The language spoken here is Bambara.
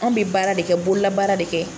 Anw bɛ baara de kɛ bolola baara de kɛ.